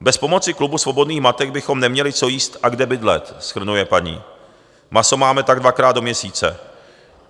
"Bez pomoci Klubu svobodných matek bychom neměli co jíst a kde bydlet," shrnuje paní, "maso máme tak dvakrát do měsíce.